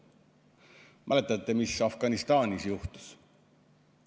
Kas mäletate, mis Afganistanis juhtus?